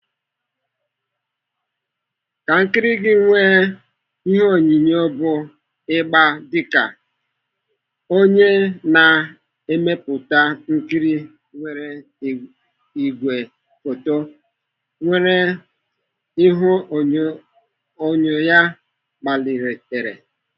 Ka nkiri gị nwee ihuenyo bụ ịgba dịka onye na-emepụta nkiri, were ìgwè foto nwere ihu enyo ya gbalitere.